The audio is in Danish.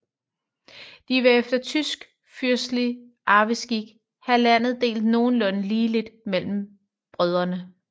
De ville efter tysk fyrstelig arveskik have landet delt nogenlunde ligeligt mellem brødrene